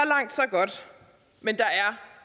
godt men der er